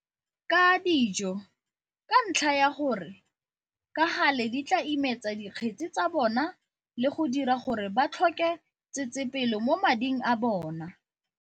tsa dijo - ka ntlha ya gore ka gale di tla imetsa dikgetsi tsa bona le go dira gore ba tlhoke tsetsepelo mo mading a bona.